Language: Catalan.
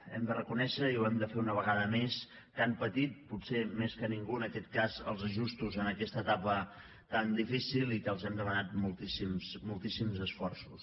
hem de reconèixer i ho hem de fer una vegada més que han patit potser més que ningú en aquest cas els ajustos en aquesta etapa tan difícil i que els hem demanat moltíssims moltíssims esforços